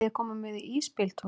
Viljiði koma með í ísbíltúr?